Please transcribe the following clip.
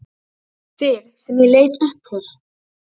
Þig sem ég leit upp til.